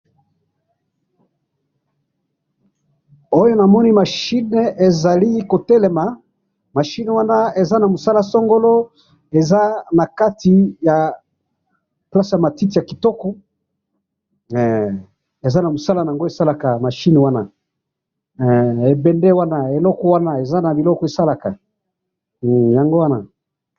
Awa na moni machini na kati ya jardin ya matiti po na mosala songolo.